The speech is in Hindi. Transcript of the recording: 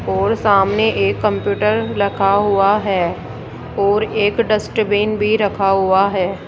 और सामने एक कंप्यूटर लखा हुआ है और एक डस्टबिन भी रखा हुआ है।